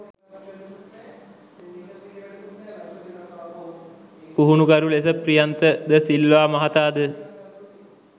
පුහුණුකරු ලෙස ප්‍රියන්ත ද සිල්වා මහතා ද